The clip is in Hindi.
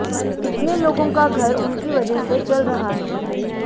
कितने लोगों का घर उनकी वजह से चल रहा है